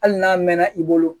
Hali n'a mɛnna i bolo